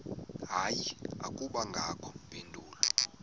hayi akubangakho mpendulo